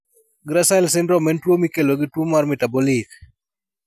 GRACILE syndrome en tuwo mikelo gi tuo mar metabolic.